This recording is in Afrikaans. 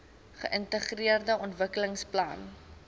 geintegreerde ontwikkelingsplan idp